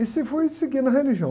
E se foi seguindo a religião.